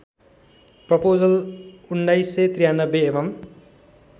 proposal १९९३ एवं